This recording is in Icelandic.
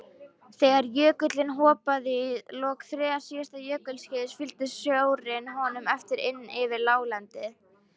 Þegar jökullinn hopaði í lok þriðja síðasta jökulskeiðs fylgdi sjórinn honum eftir inn yfir láglendið.